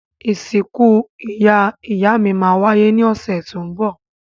Ìsìkú ìyá-ìyámí má wáyé ni ọ̀sẹ̀ to n bọ̀